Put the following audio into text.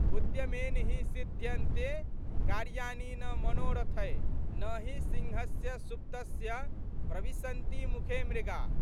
उद्यमेन हि सिध्यन्ते कार्याणि न मनोरथैः नहि सिंहस्य सुप्तस्य प्रविशन्ति मुखे मृगा।